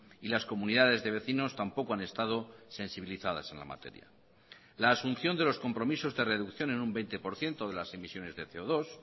y las comunidades de vecinos tampoco han estado sensibilizadas en la materia la asunción de los compromisos de reducción en un veinte por ciento de las emisiones de ce o dos